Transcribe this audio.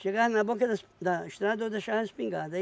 Chegava na boca da es da estrada, eu deixava a espingarda.